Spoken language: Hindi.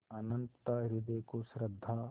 अनंतता हृदय को श्रद्धा